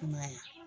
Kumaya